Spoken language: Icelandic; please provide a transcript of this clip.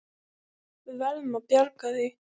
Við verðum að bjarga því.